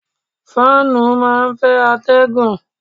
Fáànù máa ń fẹ́ atẹ́gùn.